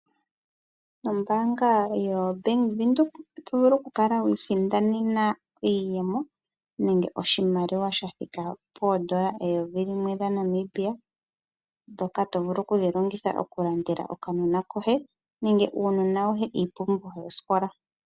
Ombaanga yoBANK WINDHOEK, oto vulu oku kala wi isindanena iiyemo nenge oshimaliwa sha thika poondola eyovi limwe lya Namibian ndyoka to vulu okuli longitha oku landela okanona koye nenge uunona woye iipumbiwa yosikola.